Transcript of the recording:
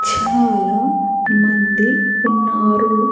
చాలా మంది ఉన్నారు.